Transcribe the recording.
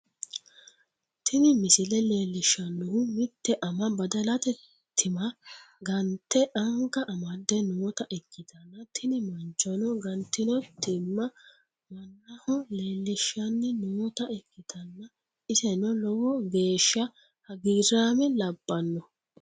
tini misile leellishshannohu mitte ama badalate timma gante anga amadde noota ikkitanna, tini manchono gantino timma mannaho leellishshanni noota ikkitanna, iseno lowo geeshsha hagiiraame labbanno.